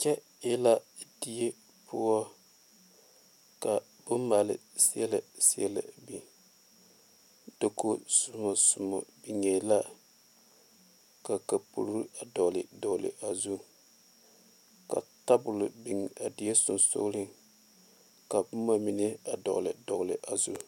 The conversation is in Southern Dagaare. Kyɛ e la die poɔ ka bonmaale seɛlɛ seɛlɛ a biŋ dakogizomɔzomɔ biŋee la ka kapuri a dɔgle dɔgle a zu ka tabol biŋ a die sensogleŋ ka boma mine a dɔgle dɔgle a zu.